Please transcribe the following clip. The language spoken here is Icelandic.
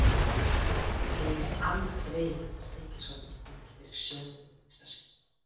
Ég gleymi aldrei hvernig Stykkishólmur kom mér fyrir sjónir í fyrsta sinn.